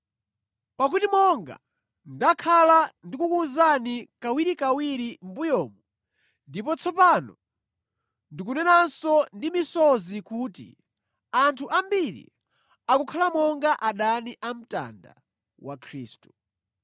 Pakuti monga ndakhala ndikukuwuzani kawirikawiri mʼmbuyomu, ndipo tsopano ndikunenanso ndi misozi kuti, anthu ambiri akukhala monga adani a mtanda wa Khristu.